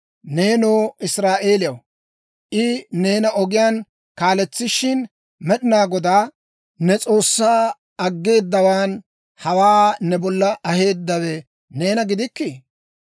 Neenoo Israa'eeliyaw, I neena ogiyaan kaaletsishin, Med'inaa Godaa ne S'oossaa aggeedawan hawaa ne bolla aheeddawe neena gidikkii?